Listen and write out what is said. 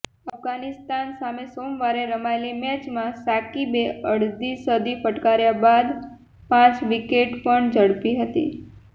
અફઘાનિસ્તાન સામે સોમવારે રમાયેલી મેચમાં સાકિબે અડધી સદી ફટકાર્યા બાદ પાંચ વિકેટ પણ ઝડપી હતી